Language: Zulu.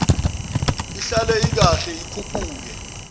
ihlale ikahle ikhuphuke